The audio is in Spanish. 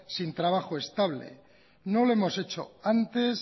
sin trabajo estable no lo hemos hecho antes